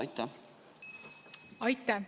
Aitäh!